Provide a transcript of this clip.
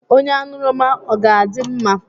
Onye aṅụrụma ọ ga-adị mma?